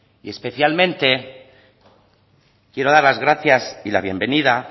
y especialmente quiero dar las gracias y la bienvenida